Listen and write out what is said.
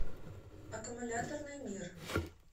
аккумуляторный мир